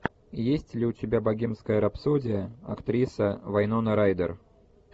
есть ли у тебя богемская рапсодия актриса вайнона райдер